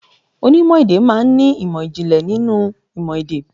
Onímò èdè má a n ní ìmò ìjìnlẹ̀ nínú ìmò èdè.